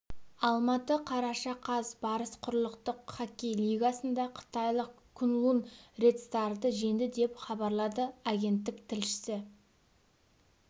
алматы қараша қаз барыс құрлықтық хоккей лигасында қытайлық куньлунь ред старды жеңді деп хабарлады агенттік тілшісі